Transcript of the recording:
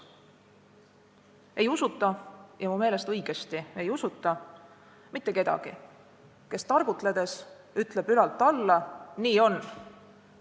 Ei usuta – ja mu meelest õigesti ei usuta – mitte kedagi, kes targutledes ütleb ülalt alla: "Nii on!